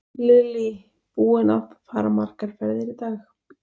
Lillý: Búinn að fara margar ferðir í dag?